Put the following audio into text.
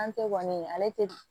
An tɛ kɔni ale tɛ